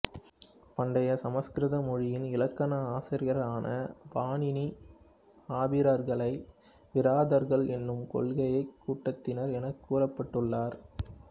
பண்டைய சமஸ்கிருத மொழியின் இலக்கண ஆசிரியரான பாணினி ஆபீரர்களை விராதர்கள் எனும் கொள்ளைக் கூட்டத்தினர் எனக் குறிப்பிட்டுள்ளார்